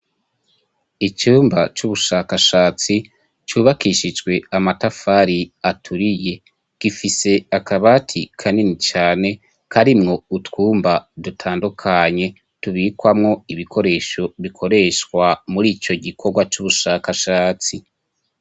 Icumba c'ubushakashatsi cubakishijwe amatafari aturiye gifise akabati kanini cane karimwo utwumba dutandukanye tubikwamwo ibikoresho bikoreshwa murico gikorwa c'ubushakashatsi.